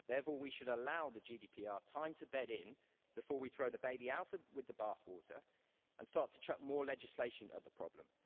Therefore, we should allow the GDPR time to bed in before we throw the baby out with the bathwater and start to chuck more legislation at the problem.